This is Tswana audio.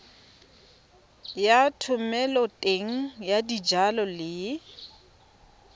ya thomeloteng ya dijalo le